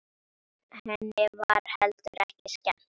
Henni var heldur ekki skemmt.